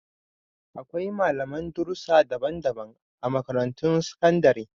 Akwai malaman darussa daban-daban a Makarantun Sakandare